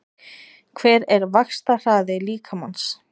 Hver er vaxtarhraði líkamans?